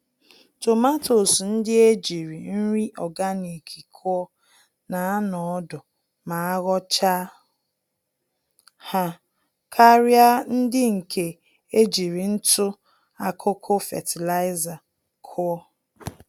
Tomatoes ndị ejírí nri ọganik kụọ, na anọ ọdụ ma aghọchaa ha, karịa ndị nke ejiri ntụ-akụkụ fertilizer kụọ.